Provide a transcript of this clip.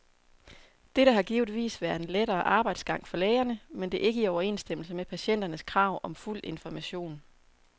Dette har givetvis været en lettere arbejdsgang for lægerne, men det er ikke i overensstemmelse med patienternes krav om fuld information.